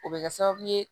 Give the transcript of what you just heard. O bɛ kɛ sababu ye